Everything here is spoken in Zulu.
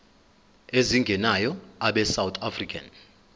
ezingenayo abesouth african